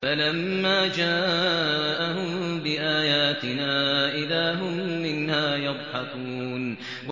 فَلَمَّا جَاءَهُم بِآيَاتِنَا إِذَا هُم مِّنْهَا يَضْحَكُونَ